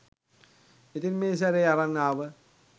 ඉතින් මේ සැරේ අරන් ආව